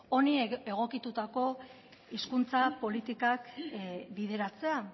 honi egokitutako hizkuntza politikak bideratzea